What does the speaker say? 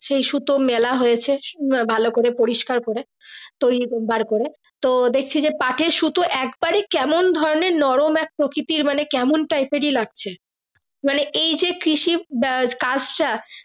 সেই সুতো মেলা হয়েছে ভালো করে পরিষ্কার করে তৈরি করে বারকরে তো দেখছি যে পাঠ এর সুতো একবার এ কেমন ধরণের নরম এক প্রকিতির মানে কেমন type এরই লাগছে মানে এই যে কৃষি কাজটা।